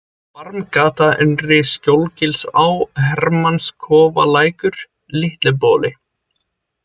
Barmgata, Innri-Skjólgilsá, Hermannskofalækur, Litli-Boli